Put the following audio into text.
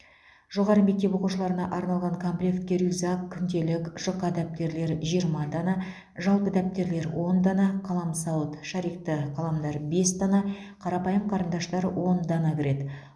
жоғары мектеп оқушыларына арналған комплектке рюкзак күнделік жұқа дәптерлер жиырма дана жалпы дәптерлер он дана қаламсауыт шарикті қаламдар бес дана қарапайым қарындаштар он дана кіреді